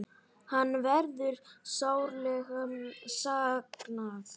Hans verður sárlega saknað.